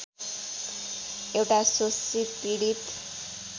एउटा शोषित पीडित